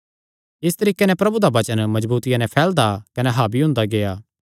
इस तरीके नैं प्रभु दा वचन मजबूतिया नैं फैलदा कने हावी हुंदा गेआ